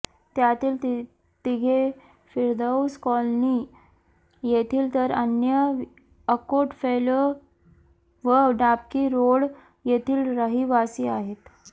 त्यातील तिघे फिरदौस कॉलनी येथील तर अन्य अकोट फ़ैल व डाबकी रोड येथील रहिवासी आहेत